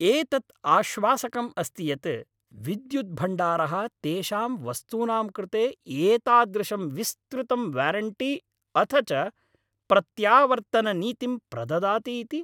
एतत् आश्वासकम् अस्ति यत् विद्युद् भण्डारः तेषां वस्तूनां कृते एतादृशं विस्तृतं वारेण्टि अथ च प्रत्यावर्तननीतिं प्रददाति इति।